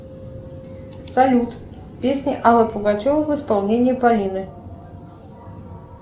салют песни аллы пугачевой в исполнении полины